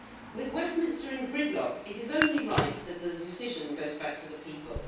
With Westminster in gridlock, it is only right that the decision goes back to the people.